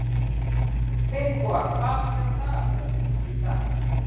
Finnboga, hvað er á dagatalinu mínu í dag?